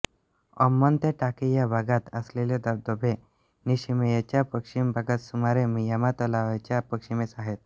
अम्मोन ते टाकी या भागात असलेले धबधबे निशिमेयाच्या पश्चिम भागात सुमारे मियामा तलावाच्या पश्चिमेस आहेत